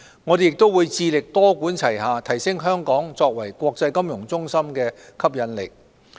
我們亦會致力多管齊下，提升香港作為國際金融中心的吸引力。